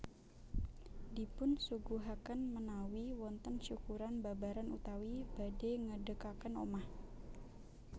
Dipun suguhakén ménawi wontén syukuran babaran utawi badhè ngédékakén omah